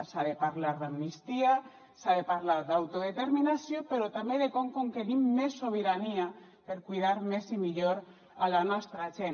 s’ha de parlar d’amnistia s’ha de parlar d’autodeterminació però també de com conquerim més sobirania per cuidar més i millor a la nostra gent